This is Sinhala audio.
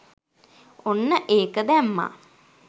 ඔන්න ඒක දැම්මා